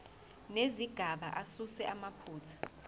nezigaba asuse amaphutha